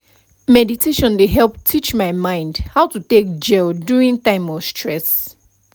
meditation dey help teach my mind how to take gel during time of stress